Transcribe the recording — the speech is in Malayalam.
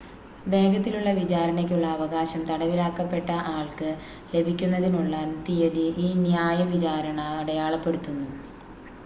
വേഗത്തിലുള്ള വിചാരണയ്ക്കുള്ള അവകാശം തടവിലാക്കപ്പെട്ട ആൾക്ക് ലഭിക്കുന്നതിനുള്ള തീയതി ഈ ന്യായ വിചാരണ അടയാളപ്പെടുത്തുന്നു